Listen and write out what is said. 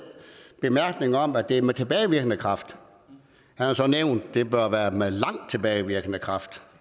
bemærkning om at det er med tilbagevirkende kraft og han har så nævnt at det bør være med lang tilbagevirkende kraft